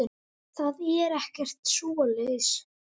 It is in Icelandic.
Það er ekkert svoleiðis.